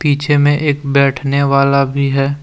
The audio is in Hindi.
पीछे में एक बैठने वाला भी है।